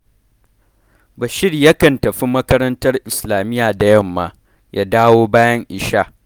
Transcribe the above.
Bashir yakan tafi makarantar islamiyya da yamma, ya dawo bayan isha